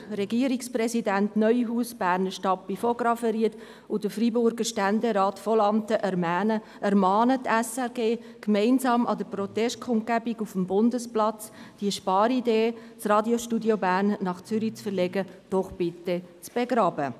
Regierungsrat Christoph Neuhaus, der Berner Stadtpräsident Alec von Graffenried und der Freiburger Ständerat Beat Vonlanthen ermahnen die SRG gemeinsam an der Protestkundgebung auf dem Bundesplatz, diese Sparidee, das Radiostudio Bern nach Zürich zu verlegen, doch bitte zu begraben.